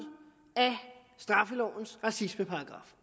straffelovens racismeparagraf